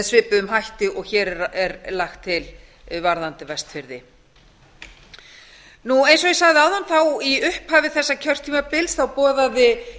svipuðum hætti og hér er lagt til varðandi vestfirði eins og ég sagði áðan þá í upphafi þessa kjörtímabils boðaði